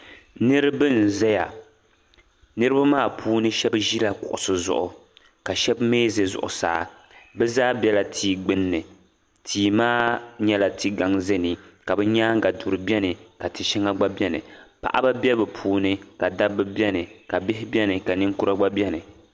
Niriba n zaya niriba maa puuni sheba ʒila kuɣusi zuɣu ka sheba mee za zuɣusaa bɛ.zaa bela tia gbinni tia maa nyɛla ti'gaŋ zani ka bɛ nyaanga duri biɛni ka ti'sheŋa biɛni paɣaba be bɛ puuni ka dabba biɛni ka bihi ka niŋkura biɛni